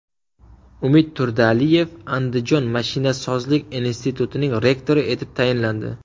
Umid Turdialiyev Andijon mashinasozlik institutining rektori etib tayinlandi.